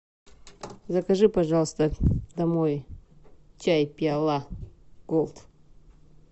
закажи пожалуйста домой чай пиала голд